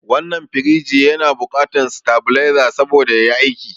Wannan firiji na bukatan satabaleza saboda yayi aiki